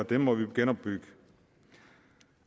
det må vi jo genopbygge